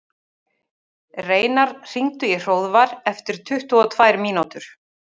Reynar, hringdu í Hróðvar eftir tuttugu og tvær mínútur.